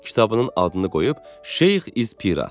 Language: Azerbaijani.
Kitabının adını qoyub Şeyx İz Pira.